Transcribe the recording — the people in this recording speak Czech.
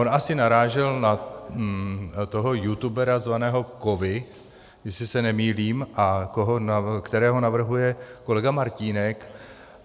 On asi narážel na toho youtubera zvaného Kovy, jestli se nemýlím, kterého navrhuje kolega Martínek.